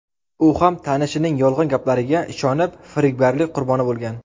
U ham tanishining yolg‘on gaplariga ishonib, firibgarlik qurboni bo‘lgan.